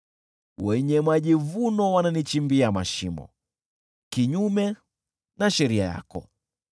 Wenye majivuno wananichimbia mashimo, kinyume na sheria yako.